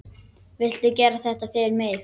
Viltu gera þetta fyrir mig!